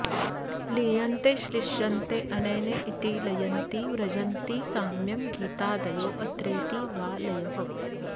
लीयन्ते श्लिष्यन्ते अनेनेति लयन्ति व्रजन्ति साम्यं गीतादयो अत्रेति वा लयः